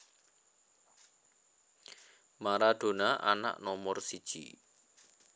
Maradona anak nomor siji